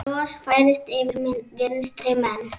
Bros færist yfir vinstri menn.